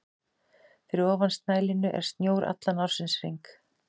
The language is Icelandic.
Fyrir ofan snælínu er snjór allan ársins hring.